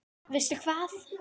Veistu hvað?